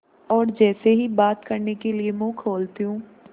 और जैसे ही बात करने के लिए मुँह खोलती हूँ